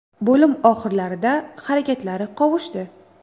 Bo‘lim oxirlarida harakatlari qovushdi.